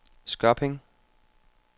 Skørping